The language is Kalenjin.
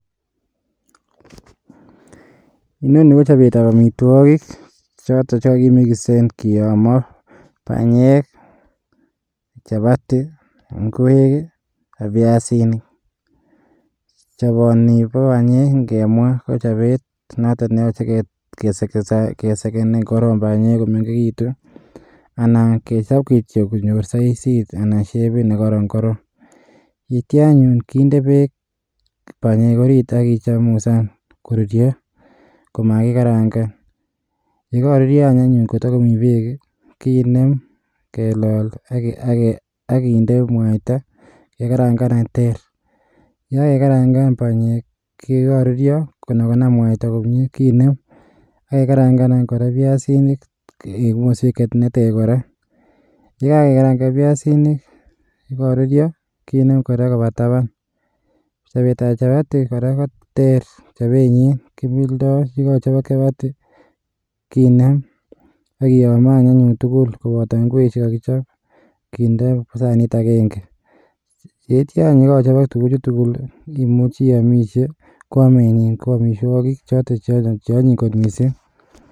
Inoni ko chobetab amitwogiik chotet chekokimiksen kiyomoo, benyeek, chapati ingwek i,ak biasinik. Choboni bo banyeek KO chobet neyooche, kesegen korong banyeek, komengeekitun. Anan kechob kityok konyoot saisit ak shepit, nekoron korong. Yeityoo anyone kindee beek banyeek orit, ak kechemusan koruryoo. Komakikarangaan, yemoruryoo anyone koto komi berk, kineem kelol ak kinder mwaita. Kekarangan any ter, yekakekarangan banyeek koruryoo konam mwaita komie kinem ak kengarangan any kora biasinik.en sofuriet neter kora, yekakekarangan biasinik ak korururyoo kinem kora kobaa tabaan. Chobetab chapati kora koter chobenyin. Kimildo chekochobok chapati kinem ak kiyoomo anyun tugul koboto ingwek chekokichob kindee sanit agenge. Yeityo any yekochobok tuguchu tugul, imuchi iamisie, ko amenyiin ko amitwogiik choton cheonyiny kot missing.